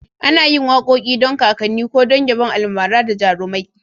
Ana yin wakoki don kakanni ko don yabon almara da jarumai.